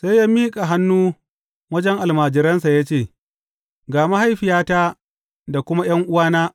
Sai ya miƙa hannu wajen almajiransa ya ce, Ga mahaifiyata da kuma ’yan’uwana.